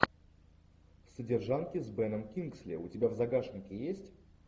содержанки с беном кингсли у тебя в загашнике есть